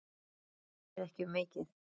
Ég bið ekki um mikið.